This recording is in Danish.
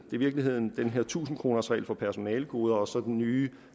i virkeligheden den her tusind kroners regel for personalegoder og så den nye